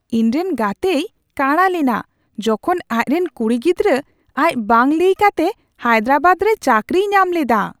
ᱤᱧ ᱨᱮᱱ ᱜᱟᱛᱮᱭ ᱠᱟᱸᱲᱟ ᱞᱮᱱᱟ ᱡᱚᱠᱷᱚᱱ ᱟᱡ ᱨᱮᱱ ᱠᱩᱲᱤ ᱜᱤᱫᱽᱨᱟᱹ ᱟᱡ ᱵᱟᱝ ᱞᱟᱹᱭ ᱠᱟᱛᱮ ᱦᱟᱭᱫᱨᱟᱵᱟᱫ ᱨᱮ ᱪᱟᱹᱠᱨᱤᱭ ᱧᱟᱢ ᱞᱮᱫᱟ ᱾